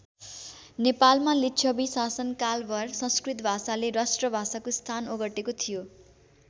नेपालमा लिच्छवी शासनकालभर संस्कृत भाषाले राष्ट्रभाषाको स्थान ओगटेको थियो।